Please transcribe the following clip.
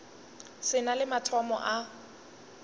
se na le mathomo a